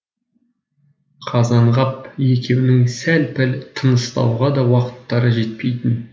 қазанғап екеуінің сәл пәл тыныстауға да уақыттары жетпейтін